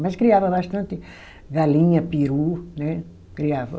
Mas criava bastante galinha, peru, né? Criava